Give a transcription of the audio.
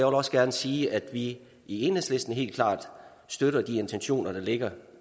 også gerne sige at vi i enhedslisten helt klart støtter de intentioner der ligger